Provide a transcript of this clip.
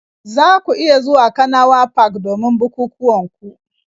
Za ku iya zuwa kanawa park domin bukukuwan ku